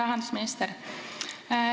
Hea rahandusminister!